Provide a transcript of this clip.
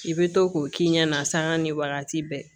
I bɛ to k'o k'i ɲɛ na sanga ni wagati bɛɛ